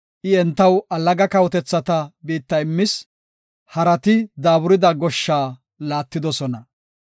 I entaw allaga kawotethata biitta immis; Harati daaburida goshsha laattidosona.